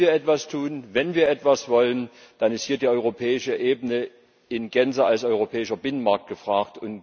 Wenn wir etwas tun, wenn wir etwas wollen, dann ist hier die europäische Ebene in Gänze als europäischer Binnenmarkt gefragt.